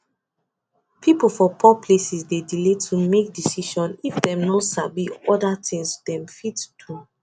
people for poor places dey delay to make decision if dem no sabi other things dem fit do